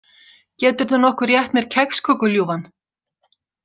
Geturðu nokkuð rétt mér kexköku, ljúfan?